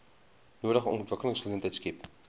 nodige ontwikkelingsgeleenthede skep